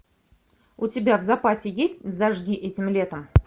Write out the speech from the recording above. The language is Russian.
у тебя в запасе есть зажги этим летом